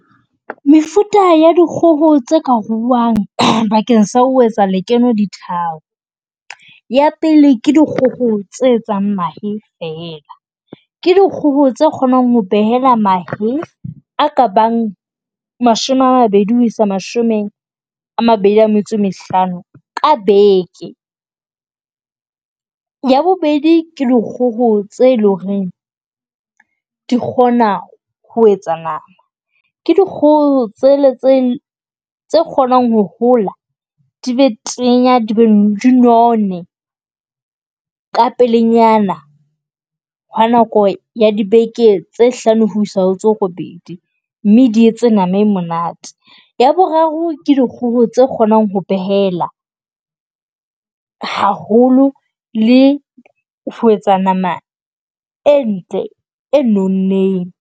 Mefuta ya dikgoho tse ka ruuwang bakeng sa ho etsa lekeno di tharo. Ya pele ke dikgoho tse etsang mahe fela ke dikgoho tse kgonang ho behela mahe a ka bang mashome a mabedi ho isa mashome a mabedi a metso e mehlano ka beke. Ya bobedi, ke dikgoho tse e leng hore di kgona ho etsa nama. Ke dikgoho tsela tse tse kgonang ho hola di be tenya di be di none. Ka pelenyana ha nako ya dibeke tse hlano ho isa ho tse robedi mme di etse nama e monate. Ya boraro ke dikgoho tsa kgonang ho behela haholo le ho etsa nama e ntle, e nonneng.